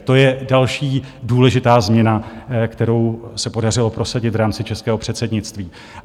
To je další důležitá změna, kterou se podařilo prosadit v rámci českého předsednictví.